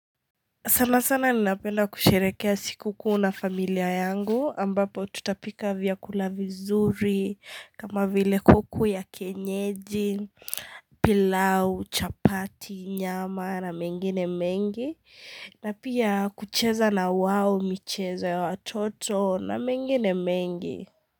Sana sana napenda kusherekea siku kuu na familia yangu ambapo tutapika vyakulavi zuri kama vile kuku ya kienyeji pilau, chapati, nyama na mengi ne mengi na pia kucheza na wao michezo ya watoto na mengi ne mengi.